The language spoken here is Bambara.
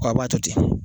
Wa a b'a to ten